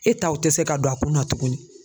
E taw te se ka don a kun na tukuni.